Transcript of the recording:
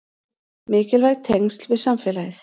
Mikilvæg tengsl við samfélagið